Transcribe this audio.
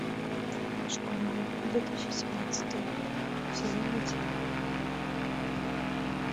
школа две тысячи семнадцатый сезон один